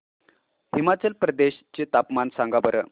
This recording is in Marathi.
हिमाचल प्रदेश चे तापमान सांगा बरं